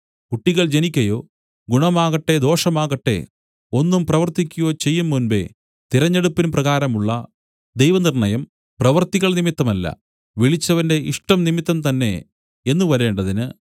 കുട്ടികൾ ജനിക്കയോ ഗുണമാകട്ടെ ദോഷമാകട്ടെ ഒന്നും പ്രവർത്തിക്കയോ ചെയ്യുംമുമ്പേ തിരഞ്ഞെടുപ്പിൻ പ്രകാരമുള്ള ദൈവനിർണ്ണയം പ്രവൃത്തികൾ നിമിത്തമല്ല വിളിച്ചവന്റെ ഇഷ്ടം നിമിത്തംതന്നെ എന്നു വരേണ്ടതിന്